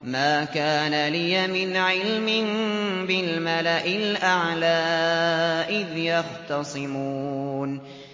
مَا كَانَ لِيَ مِنْ عِلْمٍ بِالْمَلَإِ الْأَعْلَىٰ إِذْ يَخْتَصِمُونَ